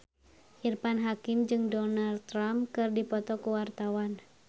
Irfan Hakim jeung Donald Trump keur dipoto ku wartawan